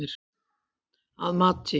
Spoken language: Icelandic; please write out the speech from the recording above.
Að mati